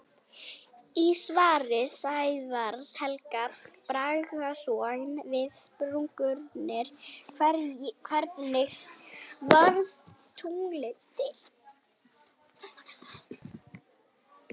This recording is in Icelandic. Í svari Sævars Helga Bragasonar við spurningunni Hvernig varð tunglið til?